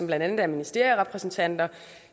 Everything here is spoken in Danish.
blandt andet ministerierepræsentanter